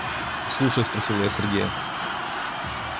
слушай спросила я сергея